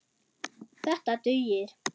Þetta dugir.